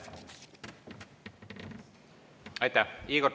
Aitäh!